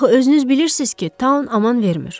Axı özünüz bilirsiz ki, Taun aman vermir.